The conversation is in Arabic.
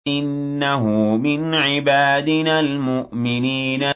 إِنَّهُ مِنْ عِبَادِنَا الْمُؤْمِنِينَ